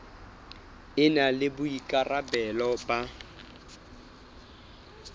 e na le boikarabelo ba